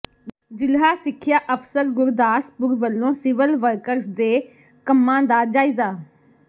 ਜਿਲ੍ਹਾ ਸਿਖਿਆ ਅਫਸਰ ਗੁਰਦਾਸਪੁਰ ਵੱਲੋਂ ਸਿਵਲ ਵਰਕਸ ਦੇ ਕੰਮਾਂ ਦਾ ਜਾਇਜਾ